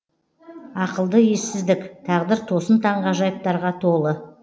ақылды ессіздік тағдыр тосын таңғажайыптарға толы